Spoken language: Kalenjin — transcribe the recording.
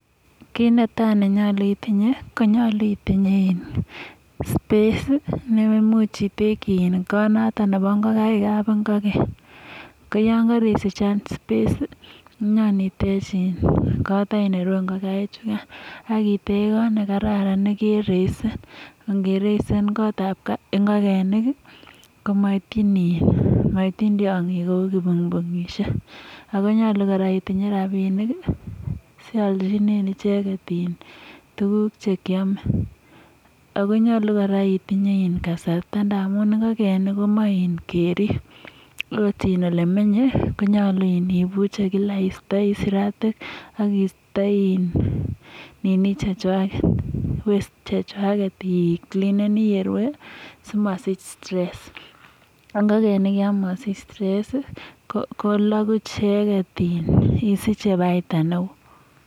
Kit netai nenyolu itinye konyolu itinye in space sii neimuch iteki kot noton nebo ingokaikab kapinkoken koyokerisich any space sii inyon itech in kot any nerue ngokaik chukan ak itech kot any nekararan nekereisen ngereisen kotab ingokenik kii koityin in komoityin tyongik kou kibunbungishek Ako nyolu koraa itinye rabinik sioljinen icheket tukuk chekiome . Ako nyolu koraa itinye in kasarta ndamun ingokenik komoi keribe akot olemenye konyolu ibuche Kila istoi siratik ak isto in nini chechwaket waste chechwaket icleanenii yerue sikosich stress ak ingokenik yon mosich stress sii ko koloku cheketebe isiche baita neo.